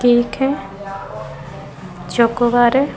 Cake है chocobar है।